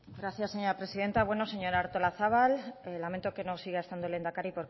gracias señora presidenta bueno señora artolazabal lamento que no siga estando el lehendakari